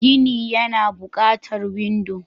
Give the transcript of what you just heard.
Gini Yana buƙatar windo.